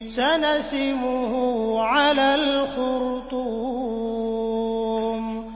سَنَسِمُهُ عَلَى الْخُرْطُومِ